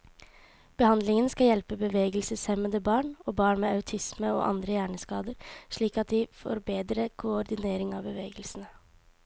Behandlingen skal hjelpe bevegelseshemmede barn, og barn med autisme og andre hjerneskader slik at de får bedre koordinering av bevegelsene.